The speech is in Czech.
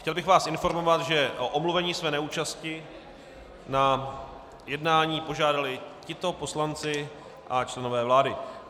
Chtěl bych vás informovat, že o omluvení své neúčasti na jednání požádali tito poslanci a členové vlády.